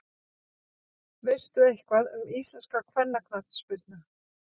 Veistu eitthvað um íslenska kvennaknattspyrnu?